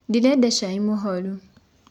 Ndĩrenda caĩ mũhorũ.